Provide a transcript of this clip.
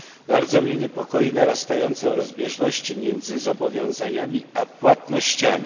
Bardzo mnie niepokoją narastające rozbieżności między zobowiązaniami a płatnościami.